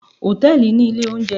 Hòtẹ́ẹ̀lì ní ilé oúnjẹ